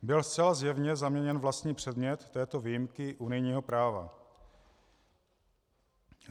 Byl zcela zjevně zaměněn vlastní předmět této výjimky unijního práva.